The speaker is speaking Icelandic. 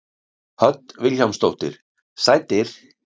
Hödd Vilhjálmsdóttir: Sætir?